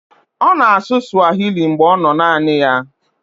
Ọ na-asụ swahili mgbe ọ nọ naanị ya.